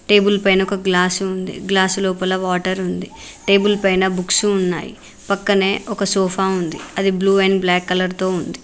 Table పైన ఒక glass ఉంది. గ్లాస్ లోపల వాటర్ ఉంది టేబుల్ పైన బుక్స్ ఉన్నాయి పక్కనే ఒక సోఫా ఉంది అది బ్లు అండ్ బ్లాక్ కలర్ తో ఉంది.